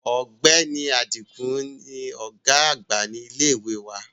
Ọ̀gbẹ́ni Adigun ni ọ̀gá àgbà ilé ìwé wa